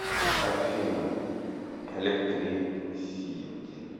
афина электрисити